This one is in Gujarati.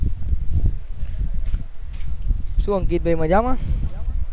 શું અંકિત ભાઈ મજામાં